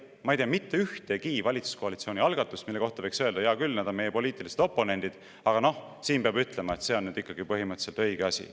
Ma ei tea mitte ühtegi valitsuskoalitsiooni algatust, mille kohta võiks öelda, et hea küll, nad on meie poliitilised oponendid, aga selle kohta peab ütlema, et see on põhimõtteliselt õige asi.